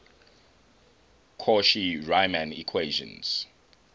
cauchy riemann equations